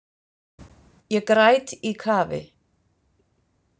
Ég græt í kafi.